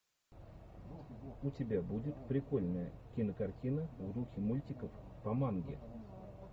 у тебя будет прикольная кинокартина в духе мультиков по манге